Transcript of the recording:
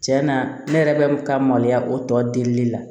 Cɛn na ne yɛrɛ bɛ ka maloya o tɔ delili la